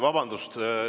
Vabandust!